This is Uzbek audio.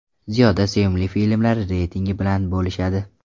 Ziyoda sevimli filmlari reytingi bilan bo‘lishadi.